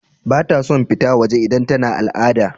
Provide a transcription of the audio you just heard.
Bata son fita waje idan tana al'ada.